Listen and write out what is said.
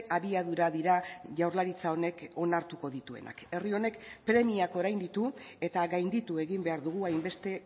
abiadura dira jaurlaritza honek onartuko dituenak herri honek premiak orain ditu eta gainditu egin behar dugu hainbeste